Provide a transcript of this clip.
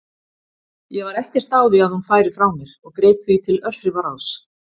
Ég var ekkert á því að hún færi frá mér og greip því til örþrifaráðs.